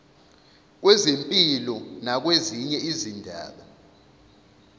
kwezempilo nakwezinye izindaba